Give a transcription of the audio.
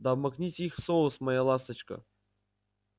да обмакните их в соус моя ласточка